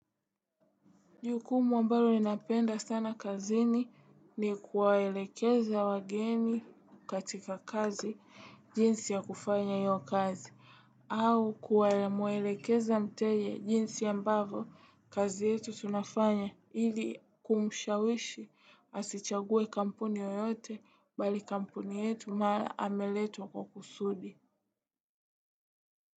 Jukumu ambalo ninapenda sana kazini ni kuwaelekeza wageni katika kazi jinsi ya kufanya hiyo kazi au kumwelekeza mteja jinsi ambavo kazi yetu tunafanya ili kumushawishi asichague kampuni yoyote bali kampuni yetu maana ameletwa kwa kusudi.